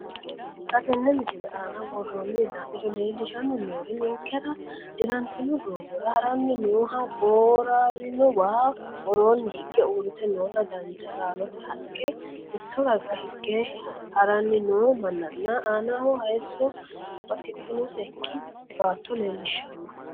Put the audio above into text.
Xa tenne missile aana worroonniri la'niro leellishshanni noori ninkera darantino doogora haranni nooha booraawino waa, woroonni higge uurrite noota duucha laalote haqqe, mitto raga hige haranni noo mannanna aanaho hayiisso batidhinosekki baatto leellishshanno.